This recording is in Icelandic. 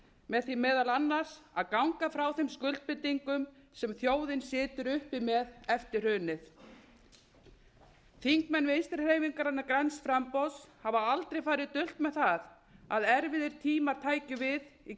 með því meðal annars að ganga frá þeim skuldbindingum sem þjóðin situr uppi með eftir hrunið þingmenn vinstri hreyfingarinnar græns framboðs hafa aldrei farið dult með það að erfiðir tímar tækju við í